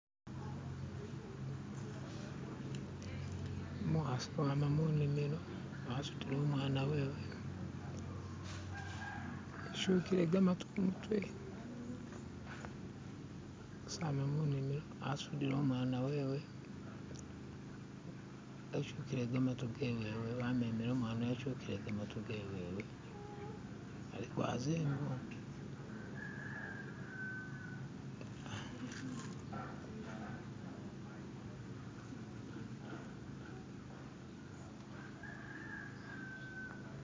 umukhasi wama munimilo wasutile umwana wewe ityuhile gamatu kumutwe umukhasi ama munimilo wasutile wamemele umwana wewe wetyukhile gamatu gewe aliko azengo